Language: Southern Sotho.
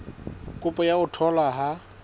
kopo ya ho tholwa ha